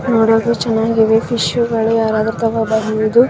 ನೋಡಕೂ ಚೆನ್ನಾಗಿದೆ ಫಿಶ್ ಗಳು ಯಾರಾದ್ರೂ ತಗೋಬಂದಿರೋದು .